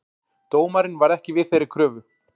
Dómarinn varð ekki við þeirri kröfu